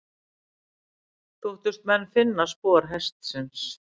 Þóttust menn finna spor hestsins.